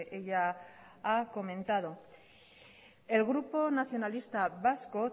ella ha comentado el grupo nacionalista vasco